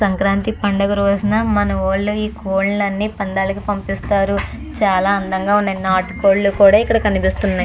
సంక్రాంతి పండుగ రోజున మన వోళ్ళవి అన్ని పందాలు పంపిస్తారు. చాలా అందంగా ఉన్నాయి నాటు కోళ్లు కూడా ఇక్కడ కనిపిస్తున్నాయి.